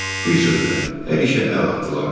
Bir sözlə, hər işə əl atdılar.